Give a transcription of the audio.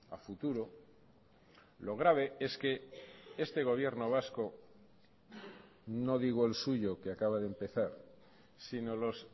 a futuro lo grave es que este gobierno vasco no digo el suyo que acaba de empezar sino los